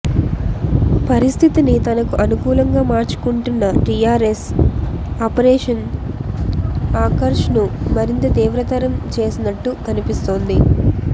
పరిస్థితిని తనకు అనుకూలంగా మార్చుకుంటున్న టీఆర్ఎస్ ఆపరేషన్ ఆకర్ష్ను మరింత తీవ్రతరం చేసినట్టు కనిపిస్తోంది